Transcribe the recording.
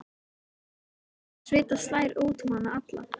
Henni er flökurt og svita slær út um hana alla.